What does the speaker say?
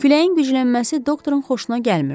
Küləyin güclənməsi doktorun xoşuna gəlmirdi.